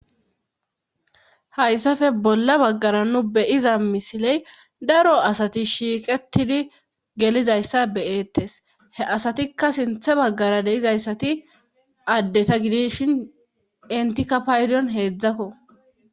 Hayssafe bolla baggara nu beyiza misiley daro asati shiiqetidi gelizayssa beyeettes he asatikka sinthe baggara deizayssati addeta gidishin entikapaydion heedzdzakko.